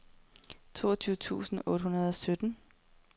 toogtyve tusind otte hundrede og sytten